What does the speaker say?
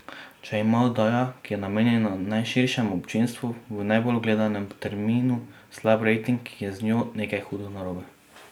Če ima oddaja, ki je namenjena najširšemu občinstvu, v najbolj gledanem terminu slab rating, je z njo nekaj hudo narobe.